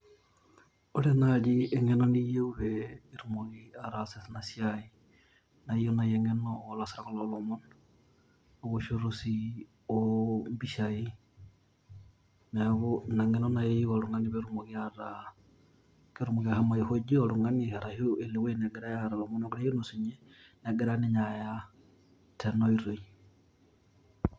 Ore naji eng'eno niyieu pe itumoki ataasa enasiai, na iyieu nai eng'eno olaasak lolomon, ewoshoto si ompishai. Neeku ina ng'eno nai eyieu oltung'ani petumoki ataa ketumoki ashomo aihoji oltung'ani arashu elo ewueji negirai aara amu keyiolo sinye, negira ninye aya tena oitoi.